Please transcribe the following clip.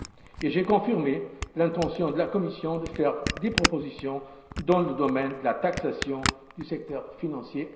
Et j'ai confirmé l'intention de la Commission de faire des propositions dans le domaine de la taxation du secteur financier.